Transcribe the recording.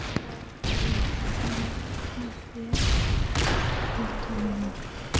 Friðveig, lækkaðu í hátalaranum.